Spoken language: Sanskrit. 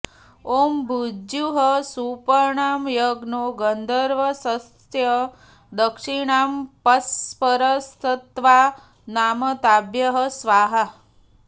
ॐ भुज्युः सुपर्णो यज्ञो गन्धर्वस्तस्य दक्षिणाऽप्सरसस्तावा नाम ताभ्यः स्वाहा